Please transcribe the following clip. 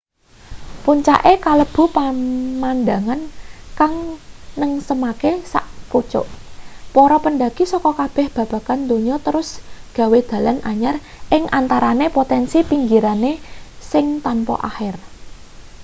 puncake kalebu pemandhangan kang nengsemake sak pucuk para pendaki saka kabeh bagean donya terus gawe dalan anyar ing antarane potensi pinggirane sing tanpa akhir